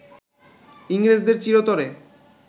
ইংরেজদের চিরতরে